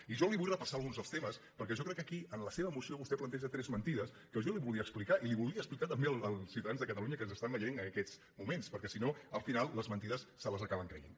i jo li vull repassar alguns dels temes perquè jo crec que aquí en la seva moció vostè planteja tres menti·des que jo li volia explicar i les volia explicar tam·bé als ciutadans de catalunya que ens estan veient en aquests moments perquè si no al final les mentides se les acaben creient